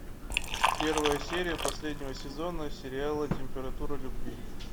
первая серия последнего сезона сериала температура любви